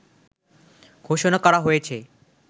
ঘোষণা করা হয়েছে